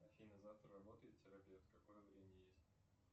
афина завтра работает терапевт какое время есть